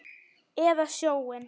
Eða sjóinn?